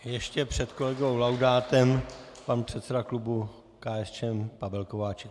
Ještě před kolegou Laudátem pan předseda klubu KSČM Pavel Kováčik.